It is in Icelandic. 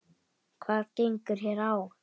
Hvað gengur hér á?